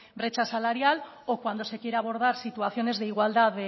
brecha salarial o cuando se quiere abordar situaciones de igualdad